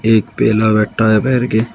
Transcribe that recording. एक बैठा है पैर के--